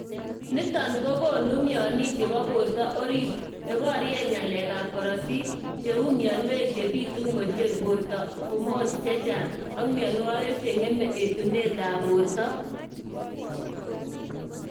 Nitok ko konu mionik chebo porto orit neporye ngalek ap korotik, cheu mionwek chebitu ngocher porto hormones chechang ak mionwek che ngeme etunet ap porto.